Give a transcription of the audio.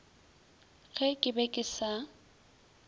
ge ke be ke sa